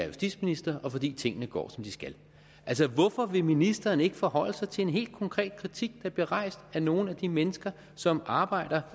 justitsminister og fordi tingene går som de skal altså hvorfor vil ministeren ikke forholde sig til en helt konkret kritik der bliver rejst af nogle de mennesker som arbejder